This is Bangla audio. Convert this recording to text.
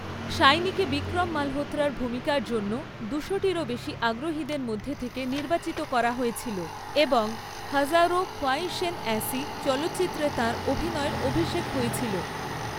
শাইনিকে বিক্রম মালহোত্রার ভূমিকার জন্য দুশোটিরও বেশি আগ্রহীদের মধ্যে থেকে নির্বাচিত করা হয়েছিল, এবং 'হাজারোঁ খোয়াইশেন এইসি' চলচ্চিত্রে তাঁর অভিনয়ের অভিষেক হয়েছিল।